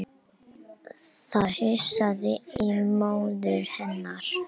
Frekara lesefni á Vísindavefnum: Af hverju urðu siðaskiptin hér á Íslandi?